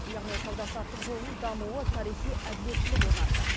яғни сауда саттық жолының дамуы тарихи әділеттілік орнатты